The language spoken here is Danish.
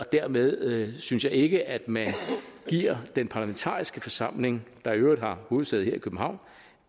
dermed synes jeg ikke at man giver den parlamentariske forsamling der i øvrigt har hovedsæde her i københavn